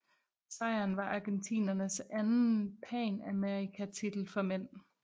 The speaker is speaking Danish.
Sejren var argentinernes anden panamerikatitel for mænd